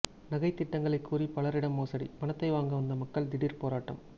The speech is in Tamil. நகை திட்டங்களை கூறி பலரிடம் மோசடி பணத்தை வாங்க வந்த மக்கள் திடீர் போராட்டம்